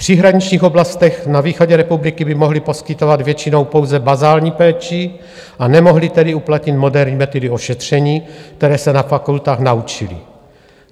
V příhraničních oblastech na východě republiky by mohli poskytovat většinou pouze bazální péči, a nemohli tedy uplatnit moderní metody ošetření, které se na fakultách naučili.